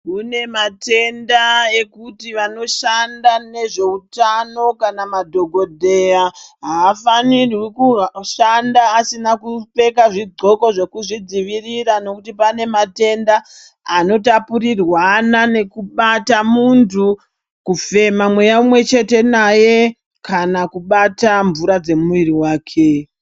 Kunematenda ekuti vanoshanda nezvehutano kana madhokodheya, havafanirwi kushanda asina kupfeka zvigcoko zvekuzvidzivirira nokuti panematenda anotapurirwana nekubata muntu, kufema mweya umwe chete naye, kana kubata mvura dzemuiri wake.